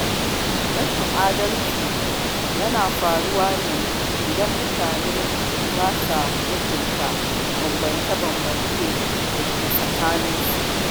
Rashin adalci yana faruwa ne idan mutane ba sa mutunta bambance-bambance da ke tsakaninsu